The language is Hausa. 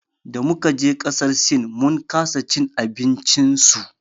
Damu kaje ƙasar sin mun kasa cin abinci su.